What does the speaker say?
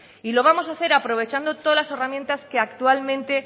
y lo vamos hacer aprovechado todas las herramientas que actualmente